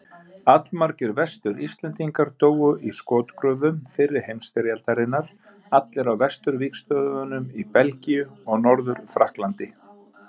Allmargir Vestur-Íslendingar dóu í skotgröfum fyrri heimsstyrjaldarinnar, allir á vesturvígstöðvunum í Belgíu og Norður-Frakklandi.